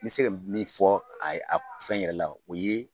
N bɛ se min fɔ a a fɛn yɛrɛ la o ye